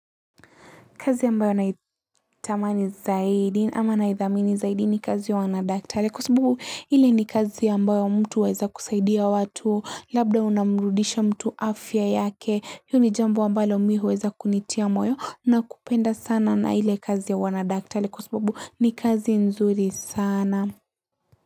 Kazi ambayo naitamani zaidi ama naithamini zaidi ni kazi ya wanadaktari kwa sababu ile ni kazi ambayo mtu aweza kusaidia watu labda unamrudisha mtu afya yake hiyo ni jambo ambalo mi huweza kunitia moyo na kupenda sana na ile kazi ya wanadaktare kwa sababu ni kazi nzuri sana.